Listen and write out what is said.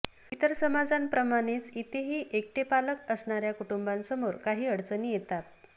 इतर समाजांप्रमाणेच इथेही एकटे पालक असणाऱ्या कुटुंबांसमोर काही अडचणी येतात